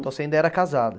Então você ainda era casada?